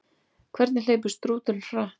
Hvað hleypur strúturinn hratt?